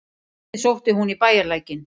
Vatnið sótti hún í bæjarlækinn.